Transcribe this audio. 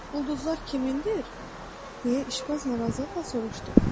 Ulduzlar kimindir, deyə işbaz narazılıqla soruştu.